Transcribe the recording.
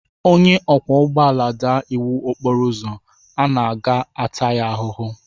Onye ọkwọ ụgbọala daa iwu okporo ụzọ, a ga-ata ya ahụhụ.